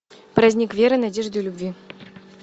праздник веры надежды любви